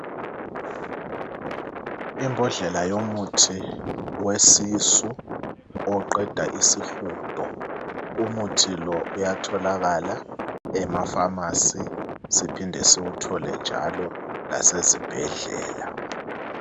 Imbodlela yomuthi wesisu oqeda isihudo umuthi lo uyatholakala emafamasi siphinde siwuthole njalo lasezibhedlela